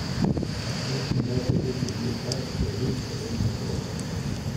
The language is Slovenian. Šestindvajset let je bil star, pa je bil še vedno otrok.